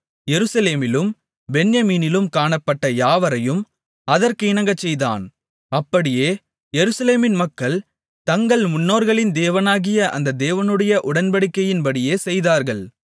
எருசலேமிலும் பென்யமீனிலும் காணப்பட்ட யாவரையும் அதற்கு இணங்கச்செய்தான் அப்படியே எருசலேமின் மக்கள் தங்கள் முன்னோர்களின் தேவனாகிய அந்த தேவனுடைய உடன்படிக்கையின்படியே செய்தார்கள்